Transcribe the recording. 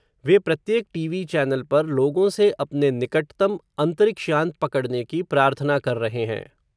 वे प्रत्येक TV channel पर, लोगों से, अपने निकटतम, अन्तरिक्ष यान पकड़्ने की प्रार्थना कर रहे हैं